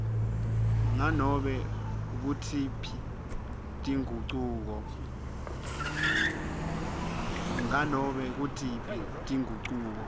nganobe ngutiphi tingucuko